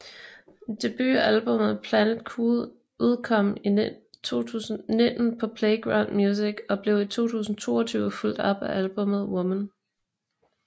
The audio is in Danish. Debutalbummet Planet Cool udkom i 2019 på Playground Music og blev i 2022 fulgt op af albummet Woman